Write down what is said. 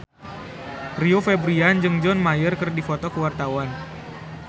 Rio Febrian jeung John Mayer keur dipoto ku wartawan